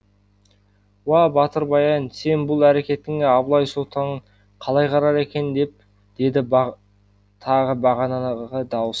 уа батыр баян сенің бұл әрекетіңе абылай сұлтан қалай қарар екен деді тағы бағанағы дауыс